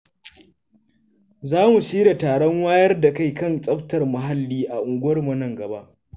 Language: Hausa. Za mu shirya taron wayar da kai kan tsaftar muhalli a unguwarmu nan gaba.